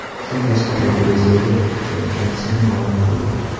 Saakashvili Gruziyaga qachon qaytishini ma’lum qildi.